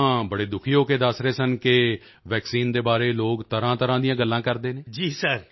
ਅਤੇ ਉਹ ਤਾਂ ਬੜੇ ਦੁਖੀ ਹੋ ਕੇ ਦੱਸ ਰਹੇ ਸਨ ਕਿ ਵੈਕਸੀਨ ਦੇ ਬਾਰੇ ਲੋਕ ਤਰ੍ਹਾਂਤਰ੍ਹਾਂ ਦੀਆਂ ਗੱਲਾਂ ਕਰਦੇ ਹਨ